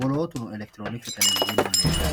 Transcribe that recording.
woolootuno elektiroonikisete yinanniri hedhanno.